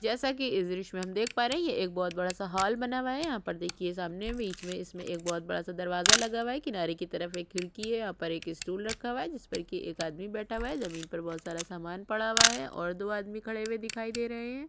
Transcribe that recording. जैसा की इस द्र्श्य में हम देख पा रहे है ये एक बहोत बड़ा सा हाल बना हुआ है यहाँ पर देखिए सामने बीच मे इसमें एक बहोत बड़ा सा दरवाज़ा लगा हुआ है किनारे की तरफ एक खिड़की है यहाँ पर एक स्टूल रखा हुआ है जिस पर की एक आदमी बैठा हुआ है ज़मीन पर बहोत सारा समान पड़ा हुआ है और दो आदमी खड़े हुए दिखाई दे रहे है।